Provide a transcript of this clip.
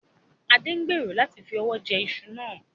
Adé ń gbèrò láti fi ọwọ jẹ ìṣù náà